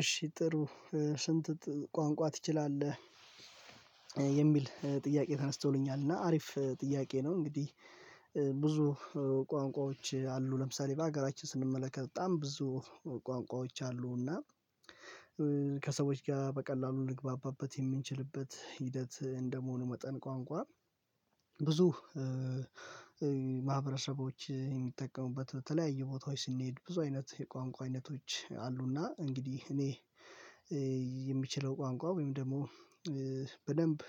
እሺ ጥሩ ስንት ቋንቋ ትችላለህ? የሚል ጥያቄ ተነስተውኛል እና አሪፍ ጥያቄ ነው። እንግዲህ ብዙ ቋንቋዎች አሉ ለምሳሌ በሀገራችን ስንመለከት በጣም ብዙ ቋንቋዎች አሉ። እና ከሰዎች ጋር በቀላሉ እንግባባበት የምንችልበት ሂደት እንደመሆኑ መጠን፤ ቋንቋ ብዙ ማህበረሰቦች የሚጠቀሙበት በተለያየ ቦታዎች ስንሄድ ብዙ አይነት የቋንቋ አይነቶች አሉ። እና እንግዲህ እኔ የሚችለው ቋንቋ ወይም ደግሞ በደንብ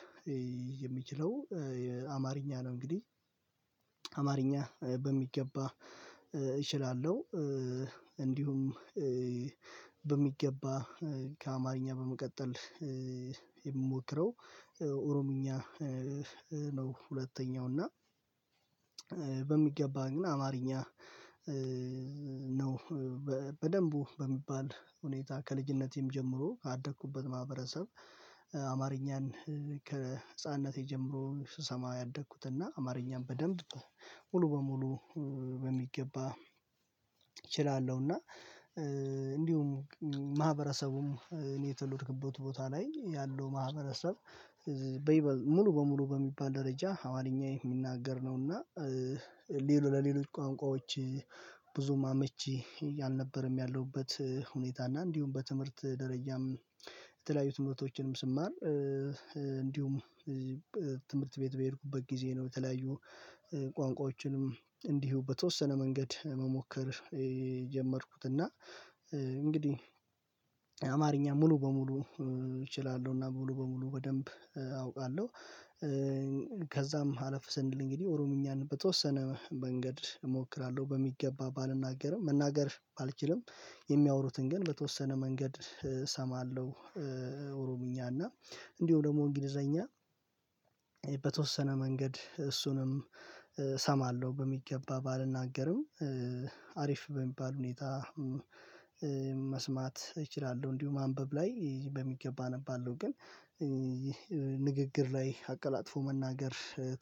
የሚችለው አማርኛ ነው እንግዲህ አማርኛ በሚገባ እችላለሁ። እንዲሁም በሚገባ ከአማርኛ በመቀጠል የምሞክረው ኦሮምኛ ነው ሁለተኛው። እና ግን አማርኛ ነው በደንቡ በሚባል ሁኔታ፤ ከልጅነቴም ጀምሮ ያደኩበት ማህበረሰብ፤ አማርኛን ከህፃንነቴ ጀምሮ ስሰማ ያደግኩት። እና አማርኛን በደንብ ሙሉ በሙሉ በሚገባ እና እንዲሁም ማህበረሰቡም እኔ የተወለድኩበት ቦታ ላይ፤ ያለው ማህበረሰብ ሙሉ በሙሉ በሚባል ደረጃ፤ ሀዋለኛ የሚናገር ነውና፤ ሌሎች ለሌሎች ቋንቋዎች ብዙም አመቺ አልነበረም ያለሁበት ሁኔታ። እና እንዲሁም በትምህርት ደረጃም የተለያዩ ትምህርቶችንም ስማር እንዲሁም ትምህርት ቤት በሄድኩበት ጊዜ ነው፤ በተለያዩ ቋንቋዎችንም እንዲሁ በተወሰነ መንገድ መሞከር የጀመርኩት። እና እንግዲህ አማርኛ ሙሉ በሙሉ እችላለሁ እና ሙሉ በሙሉ በደንብ አውቃለሁ። ከዛም ሀለፍ ስንል እንግዲህ ኦሮምኛን በተወሰነ መንገድ እሞክራለሁ። በሚገባ ባልናገርም መናገር አልችልም የሚያወሩትን ግን በተወሰነ መንገድ እሰማለሁ። ኦሮምኛ እና እንዲሁ ደግሞ እንግሊዘኛ በተወሰነ መንገድ እሱንም እሰማለሁ። በሚገባ ባልናገርም አሪፍ በሚባል ሁኔታ መስማት እችላለሁ እንዲሁ ማንበብ ላይ በሚገባ አነባለሁ። ግን ንግግር ላይ አቀላጥፎ መናገር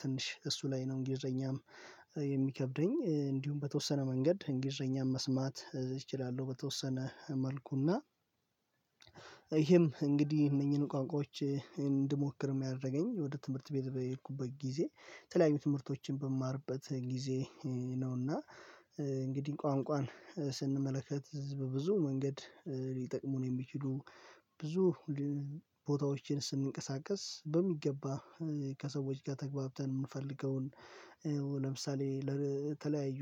ትንሽ እሱ ላይ ነው እንግሊዘኛም የሚከብደኝ። እንዲሁም በተወሰነ መንገድ እንግሊዘኛም መስማት እችላለሁ በተወሰነ መልኩ። እና ይሄም እንግዲህ እነኚህን ቋንቋዎች እንድሞክር የሚያደርገኝ፤ ወደ ትምህርት ቤት በሄድኩበት ጊዜ የተለያዩ ትምህርቶችን በማርበት ጊዜ ነው። እና እንግዲህ ቋንቋን ስንመለከት በብዙ መንገድ ሊጠቅሙን የሚችሉ፤ ብዙ ቦታዎችን ስንንቀሳቀስ በሚገባ ከሰዎች ጋር ተገብተን፤ የምንፈልገውን ለምሳሌ ለተለያዩ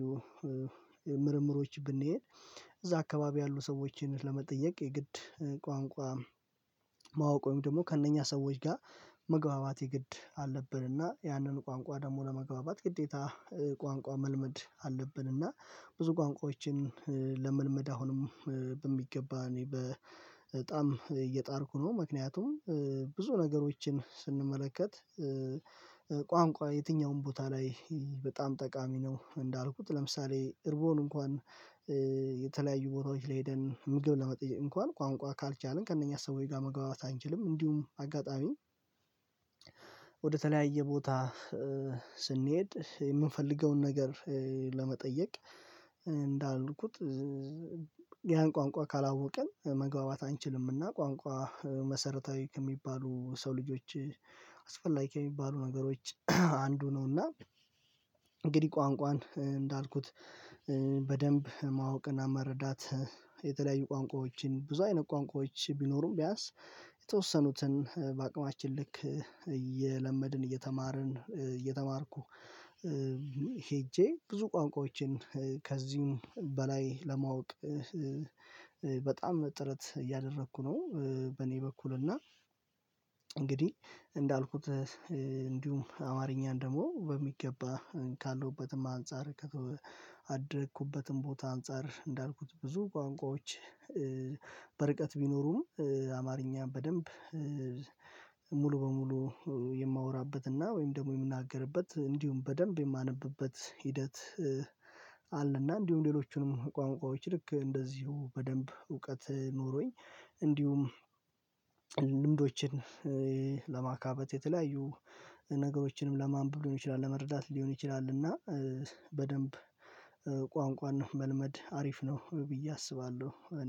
ምርምሮች ብንሄድ፤ እዛ አካባቢ ያሉ ሰዎችን ለመጠየቅ የግድ ቋንቋ ማወቅ፤ ወይም ደግሞ ከእነኛ ሰዎች ጋር መግባባት የግድ አለብን። እና ያንን ቋንቋ ደግሞ ለመግባባት ግዴታ ቋንቋ መልመድ አለብን እና ብዙ ቋንቋዎችን ለመልመድ አሁንም በሚገባ እኔ በጣም እየጣርኩ ነው። ምክንያቱም ብዙ ነገሮችን ስንመለከት ቋንቋ የትኛውም ቦታ ላይ በጣም ጠቃሚ ነው። እንዳልኩት ለምሳሌ እርቦን እንኳን የተለያዩ ቦታዎች ላይ ሄደን ምግብ ለመጠየቅ እንኳን ቋንቋ ካልቻልን፤ ከእነኛ ሰዎች ጋር መግባባት አንችልም። እንዲሁም አጋጣሚ ወደተለያየ ቦታ ስንሄድ የምንፈልገውን ነገር ለመጠየቅ፤ እንዳልኩት ያን ቋንቋ ካላወቅን መግባባት አንችልምና ቋንቋ መሰረታዊ ከሚባሉ ሰው ልጆች አስፈላጊ ከሚባሉ ነገሮች አንዱ ነው። እና እንግዲህ ቋንቋን እንዳልኩት በደንብ ማወቅና መረዳት የተለያዩ ቋንቋዎችን ብዙ አይነት ቋንቋዎች ቢኖሩም፤ ቢያንስ የተወሰኑትን በአቅማችን ልክ እየለመድን፤ እየተማርን፤ እየተማርኩ ሄጄ ብዙ ቋንቋዎችን ከዚህም በላይ ለማወቅ በጣም ጥረት እያደረኩ ነው። በእኔ በኩል እና እንግዲህ እንዳልኩት እንዲሁም አማርኛን ደግሞ በሚገባ ካለሁበትም፤ አንፃር ከአደኩበትም ቦታ አንፃር፤ እንዳልኩት ብዙ ቋንቋዎች በርቀት ቢኖሩም፤ አማርኛን በደንብ ሙሉ በሙሉ የማወራበት፤ እና ወይም ደግሞ የምናገርበት፤ እንዲሁም በደንብ የማነብበት፤ ሂደት አለ እና እንዲሁም ሌሎቹንም ቋንቋዎች ልክ እንደዚሁ በደንብ እውቀት ኖሮኝ እንዲሁም ልምዶችን ለማካበት፤ የተለያዩ ነገሮችንም ለማንበብ ሊሆን ይችላል፤ ለመረዳት ሊሆን ይችላል፤ እና በደንብ ቋንቋን መልመድ አሪፍ ነው ብዬ አስባለሁ እኔ።